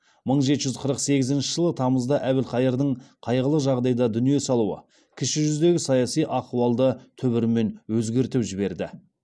мың жеті жүз қырық сегізінші жылы тамызда әбілқайырдың қайғылы жағдайда дүние салуы кіші жүздегі саяси ахуалды түбірімен өзгертіп жіберді